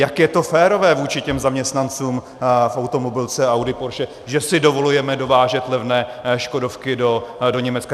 Jak je to férové vůči těm zaměstnancům v automobilce Audi, Porsche, že si dovolujeme dovážet levné škodovky do Německa?